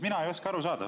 Mina ei oska aru saada.